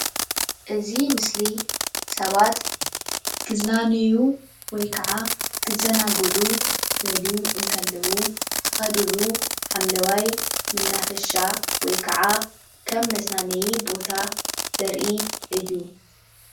እዚ ምስሊ ሰባት ክዝናነዩ ወይ ክዓ ክዘናግዑ ክደልዩ ከለው ዝከድሉ ሓምለዋይ መናፈሻ ከም መዝናነይ ቦታ ዘርኢ እዩ፡፡